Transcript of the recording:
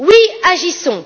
Oui, agissons!